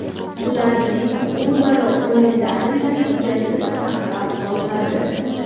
Ularning o‘zaro o‘yinlari natijasi saqlab qolinadi.